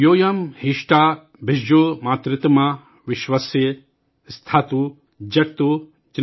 यूयं हिष्ठा भिषजो मातृतमा विश्वस्य स्थातु जगतो जनित्री।|